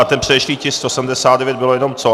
A ten předešlý tisk 179 bylo jenom co?